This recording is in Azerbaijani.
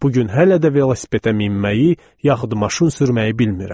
Bu gün hələ də velosipedə minməyi, yaxud maşın sürməyi bilmirəm.